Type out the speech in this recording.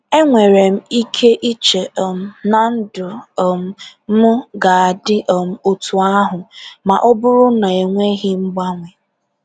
E nwere m ike iche um na ndụ um m ga-adị um otu ahụ ma ọ bụrụ na enweghị mgbanwe.